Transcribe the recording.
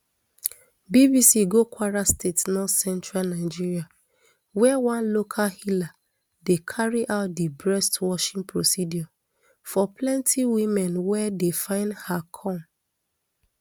bbc go kwara state northcentral nigeria wia one local healer dey carry out di breast washing procedure for plenty women wey dey find her come